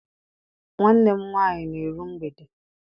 Nwanne m nwaanyị na-eru mgbede.